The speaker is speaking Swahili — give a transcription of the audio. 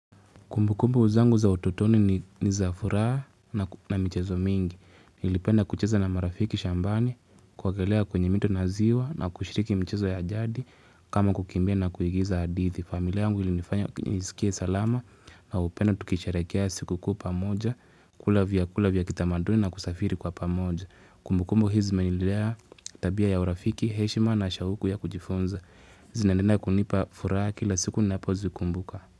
Kumbukumbu zangu za utotoni ni za furaha na michezo mingi. Nilipenda kucheza na marafiki shambani kuogelea kwenye mito na ziwa na kushiriki mchezo ya jadi kama kukimbia na kuigiza hadithi. Familia yangu ilinifanya nisikie salama na upendo tukisherehekea sikukuu pamoja kula vyakula vya kitamaduni na kusafiri kwa pamoja. Kumbukumbu hizi zimenilea tabia ya urafiki, heshima na shauku ya kujifunza. Zinaendelea kunipa furaha kila siku napozikumbuka.